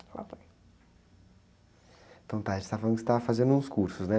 Lasanha.ntão tá, a gente estava falando que você estava fazendo uns cursos, né?